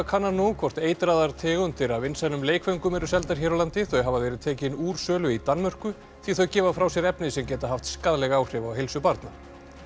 kannar nú hvort eitraðar tegundir af vinsælum leikföngum eru seldar hér á landi þau hafa verið tekin úr sölu í Danmörku því þau gefa frá sér efni sem geta haft skaðleg áhrif á heilsu barna